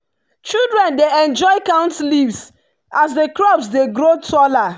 children dey enjoy count leaves as the crops dey grow taller.